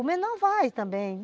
O menor vai também.